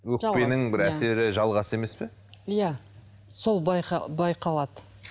өкпенің бір әсері жалғасы емес пе иә сол байқалады